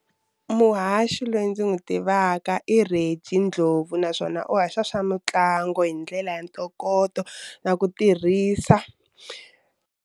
Muhaxi loyi ndzi n'wi tivaka i Reggie Ndlovu naswona u haxa swa mitlangu hi ndlela ya ntokoto na ku tirhisa.